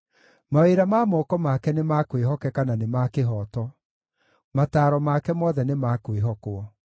Mawĩra ma moko make nĩ ma kwĩhokeka, na nĩ ma kĩhooto; mataaro make mothe nĩ ma kwĩhokwo.